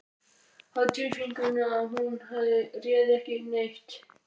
Hafði á tilfinningunni að hún réði ekki við neitt.